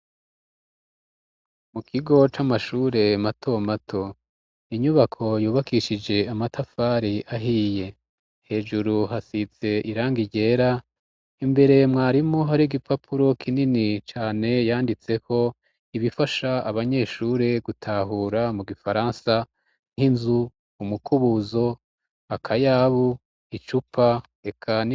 Mu kigo c'amashure mato mato. Inyubako yubakishije amatafari ahiye hejuru hasitse iranga igera imbere mwarimu hari gipapuro kinini cane yanditseho ibifasha abanyeshure gutahura mu gifaransa nk'inzu ,mukubuzo ,akayabu, icupa eka.